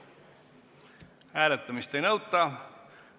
Hääletamist ei nõuta.